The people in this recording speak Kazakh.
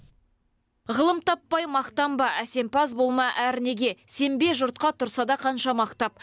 ғылым таппай мақтанба әсемпаз болма әрнеге сенбе жұртқа тұрса да қанша мақтап